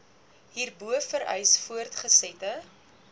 hierbo vereis voortgesette